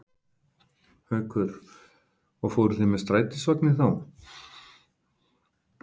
Haukur: Og fóruð þið með strætisvagni þá?